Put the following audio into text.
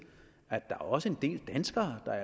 at der også er en del danskere der